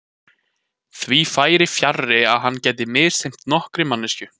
Því færi fjarri að hann gæti misþyrmt nokkurri manneskju.